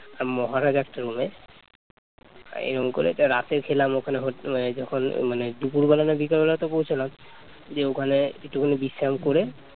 এরকম করে রাতে খেলাম ওখানে হোট মানে যখন মানে দুপুর বেলা না বিকেল বেলা তো পৌছালাম দিয়ে ওখানে একটুখানি বিশ্রাম করে